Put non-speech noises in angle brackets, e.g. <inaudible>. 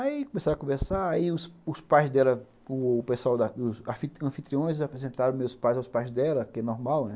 Aí começaram a conversar, aí os pais dela, <unintelligible> os anfitriões apresentaram meus pais aos pais dela, que é normal, né?